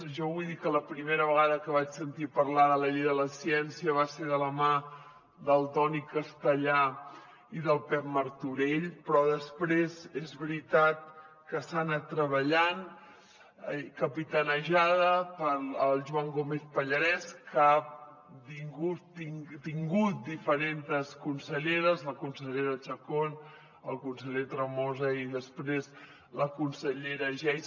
jo vull dir que la primera vegada que vaig sentir parlar de la llei de la ciència va ser de la mà del toni castellà i del pep martorell però després és veritat que s’ha anat treballant capitanejada pel joan gómez pallarès que ha tingut diferentes conselleres la consellera chacón el conseller tremosa i després la consellera geis